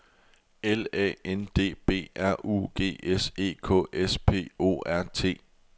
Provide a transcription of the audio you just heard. L A N D B R U G S E K S P O R T